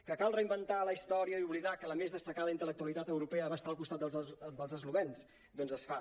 que cal reinventar la his·tòria i oblidar que la més destacada intel·lectualitat europea va estar al costat dels eslovens doncs es fa